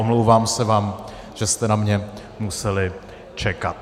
Omlouvám se vám, že jste na mě museli čekat.